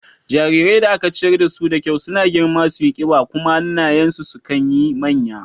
Jarirai da aka ciyar dasu da kyau suna girma suyi ƙiba kuma hannayen su sukan yi manya.